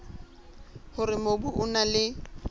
hore mobu o na le